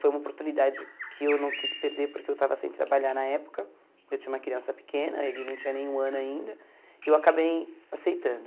Foi uma oportunidade que eu não quis perder porque eu estava sem trabalhar na época, eu tinha uma criança pequena, ele não tinha nenhum ano ainda, e eu acabei aceitando.